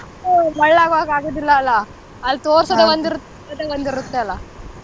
ಮಳ್ಳ್ ಆಗೋಕ್ಕೆ ಆಗುದಿಲ್ಲ ಅಲ್ಲ ಅಲ್ಲ್ ತೋರ್ಸೋದೆ ಒಂದ್ ಇರುತ್ತೆ .